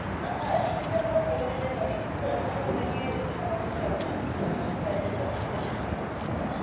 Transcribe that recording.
আহ হ্যাঁ সেটা আমরা করে দিতে পারি কিন্তু তার জন্য আপনাকে সামান্য charge আহ charges আছে যেটা সেটা pay করতে হবে।